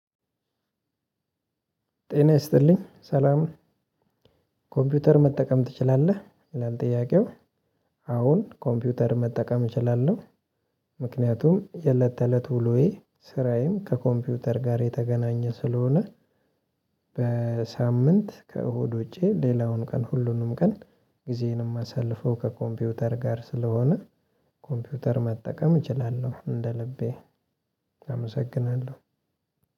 ጤና ይስጥልኝ ሰላም ኮምፒውተር መጠቀም ትችላለህ ይላል ጥያቄው አዎን ኮምፒውተር መጠቀም እችላለሁ፤ ምክንያቱም የእለት ተለት ውሎዬ ስራዬም ከኮምፒውተር ጋር የተገናኘ ስለሆነ በሳምንት ከእሁድ ውጪ ሌላውን ቀን ሁሉንም ቀን ጊዜዬንም የማሳልፈው ከኮምፒውተር ጋር ስለሆነ ኮምፒውተር መጠቀም እችላለሁ እንደ ልቤ። አመሰግናለሁ!